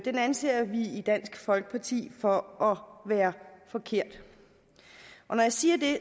anser vi i dansk folkeparti for at være forkert når jeg siger det